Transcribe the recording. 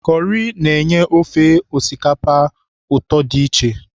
Kọrị na-enye ofe osikapa ụtọ dị iche.